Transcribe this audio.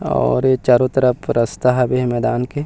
और ए चारो तरफ रास्ता हवे हे मैदान के --